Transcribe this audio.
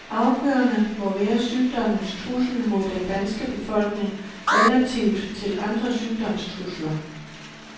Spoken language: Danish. Afgørende må være sygdommens trussel mod den danske befolkning relativt til andre sygdomstrusler.